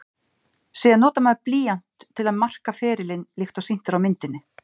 Síðan notar maður blýant til að marka ferilinn líkt og sýnt er á myndinni.